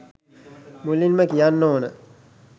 මුලින්ම කියන්න ඕන